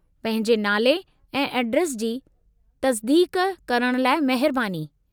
पंहिंजे नाले ऐं एड्रेस जी तसिदीक़ करण लाइ महिरबानी।